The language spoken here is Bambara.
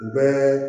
Bɛɛ